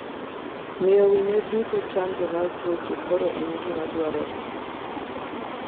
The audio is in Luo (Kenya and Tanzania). Miyo winyo duto chanjo mar tuoche kor en gima dwarore.